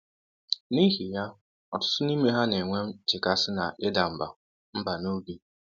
N’ihi ya, ọtụtụ n’ime ha na-enwe nchekasị na ịda mbà mbà n’obi.